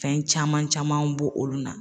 Fɛn caman camanw bɔ olu na